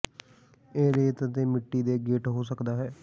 ਇਹ ਰੇਤ ਅਤੇ ਮਿੱਟੀ ਦੇ ਗੇਟ ਹੋ ਸਕਦਾ ਹੈ